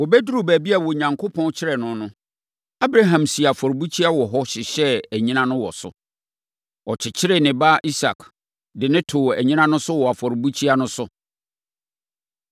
Wɔbɛduruu baabi a Onyankopɔn kyerɛɛ no no, Abraham sii afɔrebukyia wɔ hɔ, hyehyɛɛ anyina no wɔ so. Ɔkyekyeree ne ba Isak, de no too anyina no so wɔ afɔrebukyia no so.